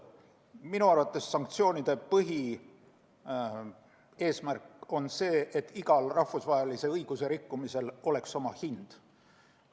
Minu arvates on sanktsioonide põhieesmärk see, et igal rahvusvahelise õiguse rikkumisel oleks oma hind.